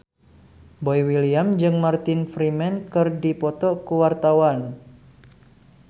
Boy William jeung Martin Freeman keur dipoto ku wartawan